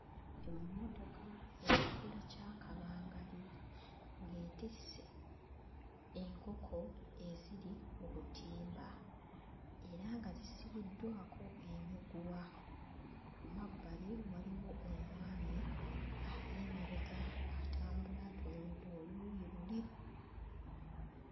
Emmotoka ya kikula kya kabangali ng'etisse enkoko eziri mu butimba era nga zisibiddwako emiguwa. Mu mabbali waliyo omwami ali emabega atambula atunudde oluuyi luli.